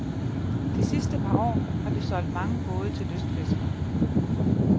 De sidste par år har vi solgt mange både til lystfiskere.